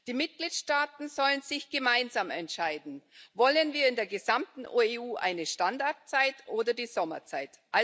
Die Mitgliedstaaten sollen sich gemeinsam entscheiden Wollen wir in der gesamten EU eine Standardzeit oder die Sommerzeit?